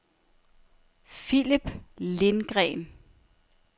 Phillip Lindgreen